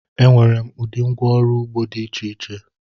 Enwere m ụdị ngwá ọrụ ugbo dị iche iche.